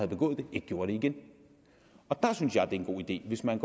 begået det ikke gjorde det igen der synes jeg er en god idé hvis man